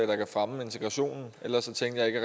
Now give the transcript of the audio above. der kan fremme integrationen ellers tænker jeg ikke